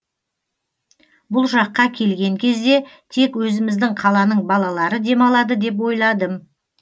бұл жаққа келген кезде тек өзіміздің қаланың балалары демалады деп ойладым